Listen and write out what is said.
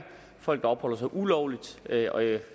folk der opholder sig ulovligt